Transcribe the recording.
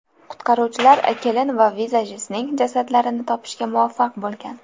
Qutqaruvchilar kelin va vizajistning jasadlarini topishga muvaffaq bo‘lgan.